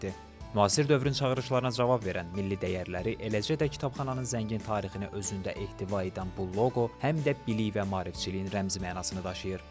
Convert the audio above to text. Müasir dövrün çağırışlarına cavab verən, milli dəyərləri, eləcə də kitabxananın zəngin tarixini özündə ehtiva edən bu loqo, həm də bilik və maarifçiliyin rəmzi mənasını daşıyır.